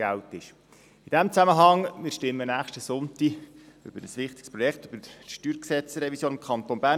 In diesem Zusammenhang: Nächsten Sonntag werden wir über ein wichtiges Projekt abstimmen: die Revision des Steuergesetzes (StG) des Kantons Bern.